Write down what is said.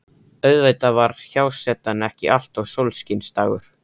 Auðvitað var hjásetan ekki alltaf sólskinsdagur.